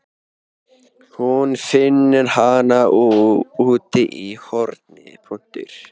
Hún finnur hana úti í horni.